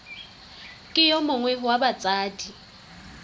ke yo mongwe wa batsadi